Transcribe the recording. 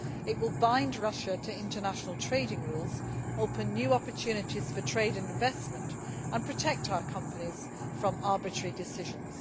It will bind Russia to international trading rules, open new opportunities for trade and investment and protect our companies from arbitrary decisions.